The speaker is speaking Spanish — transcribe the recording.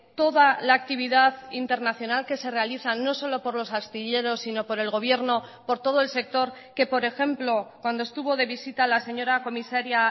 toda la actividad internacional que se realiza no solo por los astilleros sino por el gobierno por todo el sector que por ejemplo cuando estuvo de visita la señora comisaría